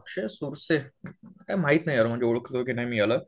अक्षय सोरसे. काय माहित नाही यार ओळखल की नाही याला.